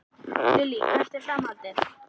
Lillý: Hvert er framhaldið?